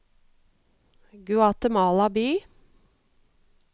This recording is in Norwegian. Guatemala by